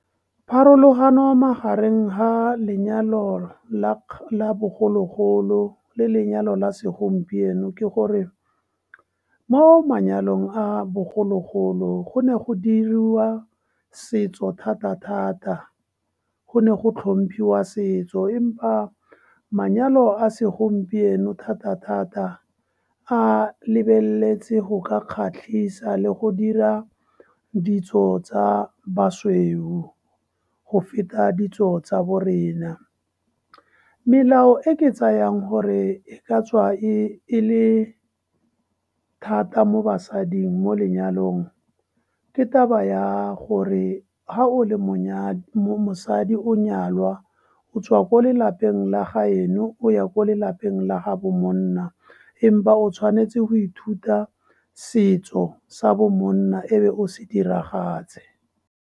Pharologano magareng ga lenyalo bogologolo le lenyalo la segompieno ke gore mo manyalong a bogologolo go ne go diriwa setso thata-thata, go ne go tlhomphiwa setso, empa manyalo a segompieno thata-thata a lebeletse go ka kgatlhisa le go dira ditso tsa basweu go feta ditso tsa bo rena. Melao e ke tsayang gore e ka tswa e le thata mo basading mo lenyalong ke taba ya gore, ga o le mosadi, o nyalwa o tswa ko lelapeng la gaeno o ya ko lelapeng la gaabo monna, empa o tshwanetse go ithuta setso sa bo monna e be o se diragatse.